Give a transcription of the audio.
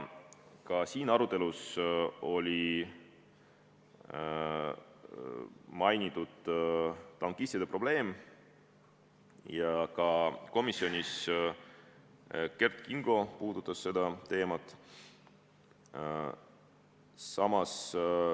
Ka siin arutelus mainiti tankistide probleemi, komisjonis Kert Kingo puudutas seda teemat.